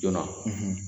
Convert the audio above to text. Joona